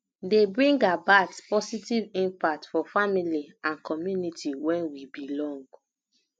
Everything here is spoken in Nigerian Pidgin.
dey bring about positive impact for family and community wey we belong